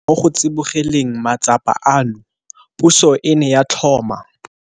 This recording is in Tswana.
Mo go tsibogeleng matsapa ano, puso e ne ya tlhoma.